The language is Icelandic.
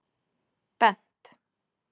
Bent